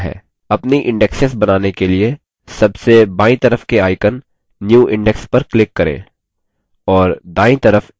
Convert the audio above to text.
अपनी index बनाने के लिए सबसे बायीं तरफ के icon new index पर click करें